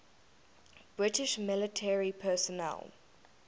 british military personnel